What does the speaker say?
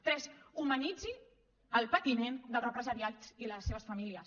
tres humanitzi el patiment dels represaliats i les seves famílies